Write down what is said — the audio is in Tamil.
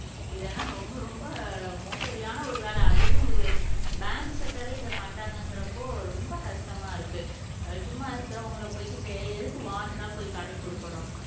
இதெல்லாம் ரொம்ப ரொம்ப மோசடியான ஒரு வேலை அதையும் ஒரு பேங்க் செட்டரே இதை பண்றாங்கங்கிறப்போ அஹ் ரொம்ப கஷ்டமா இருக்கு சும்மா இருக்கிறவங்களை போய்க்கிட்டு எதுக்கு வான்டெட்டா போய் கடன் கொடுக்கணும்